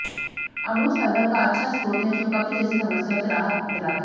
अमरूद फाइबर का अच्छा स्त्रोत है जो कब्ज जैसी समस्याओं से राहत दिलाता है